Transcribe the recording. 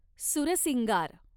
सूरसिंगार